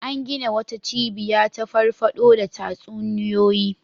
An gina wata cibiya ta farfaɗo da tatsuniyoyi.